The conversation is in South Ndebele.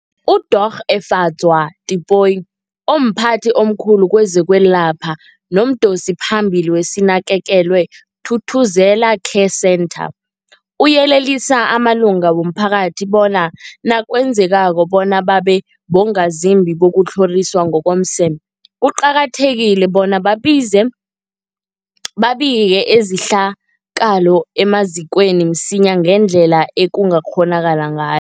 UDorh Efadzwa Tipoy, omphathi omkhulu kezokwelapha nomdosiphambili weSinakekelwe Thuthuzela Care Centre, uyelelise amalunga womphakathi bona nakwenzekako bona babe bongazimbi bokutlhoriswa ngokomseme, kuqakathekile bona babikike izen babike izehlakalo emazikweni msinyana ngendlela ekungakghonakala ngay